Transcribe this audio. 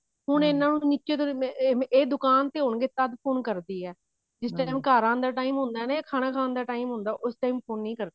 ਹੁਣ ਇਹਨਾ ਨੂੰ ਨਿੱਕੇ ਮੋਟੇ ਇਹ ਦੁਕਾਨ ਤੇ ਹੋਣਗੇ ਤਦ phone ਕਰਦੀ ਹੈ ਜਿਸ time ਘਰ ਆਉਣ ਦਾ time ਹੁੰਦਾ ਨਾ ਯਾ ਖਾਣਾ ਖਾਨ ਦਾ time ਹੁੰਦਾ ਉਸ time phone ਨਹੀ ਕਰਦੀ